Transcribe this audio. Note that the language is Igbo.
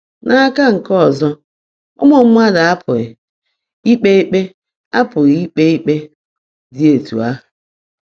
N’aka nke ọzọ, ụmụ mmadụ apụghị ikpe ikpe apụghị ikpe ikpe dị etu ahụ.